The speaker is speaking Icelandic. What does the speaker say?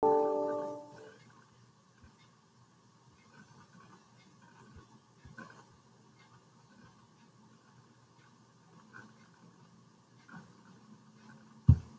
Áreiðanlega ekki jafn sver og þessi á myndinni.